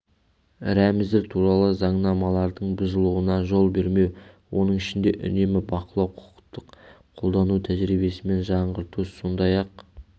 рәміздер туралы заңнамалардың бұзылуына жол бермеу оның ішінде үнемі бақылау құқықтық қолдану тәжірибесін жаңғырту сондай-ақ